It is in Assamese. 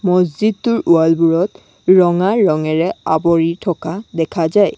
মজজিদটোৰ ৱাল বোৰত ৰঙা ৰংঙেৰে আৱৰি থকা দেখা যায়।